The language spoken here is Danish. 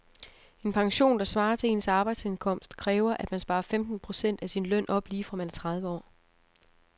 En pension, der svarer til ens arbejdsindkomst, kræver at man sparer femten procent af sin løn op lige fra man er tredive år.